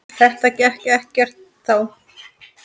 Þetta gekk ekkert þá.